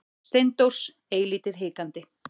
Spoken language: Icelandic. Steindórs eilítið hikandi.